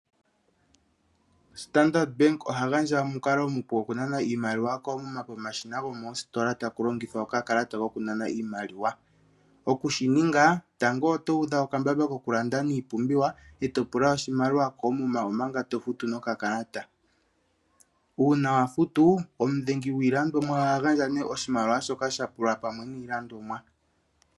Standard Bank oha gandja omukalo omupu okugandja iimaliwa koomuma omashina gokoositola taku longithwa okakalata kokunana iimaliwa. Okushi ninga, tango oto udha okambamba kukulanda niipumbiwa, e to pula oshimaliwa koomuma omanga to future nokakalata. Uuna wa futu , omudhengi gwiilandomwa oha gandja nee oshimaliwa shoka sha pulwa pamwe niilandomwa.